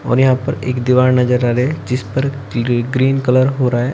और यहां पर एक दीवार नजर आ रहे है जिस पर ग्री ग्रीन कलर हो रहा है।